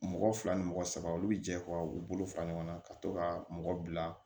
Mɔgɔ fila ni mɔgɔ saba olu be jɛ u be bolo fara ɲɔgɔn kan ka to ka mɔgɔ bila